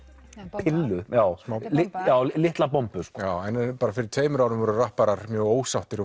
pillu litla bombu fyrir tveimur árum voru rapparar mjög ósáttir